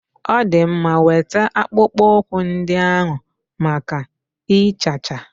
Ọ dị mma, weta akpụkpọ ụkwụ ndị ahụ maka ịchacha.